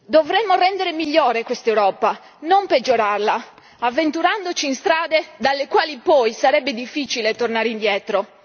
Dovremmo rendere migliore quest'Europa, non peggiorarla, avventurandoci in strade dalle quali poi sarebbe difficile tornare indietro.